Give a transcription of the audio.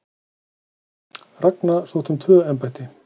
Ragna sótti um tvö embætti